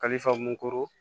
Kalifa mugu